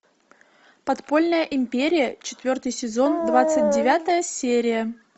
подпольная империя четвертый сезон двадцать девятая серия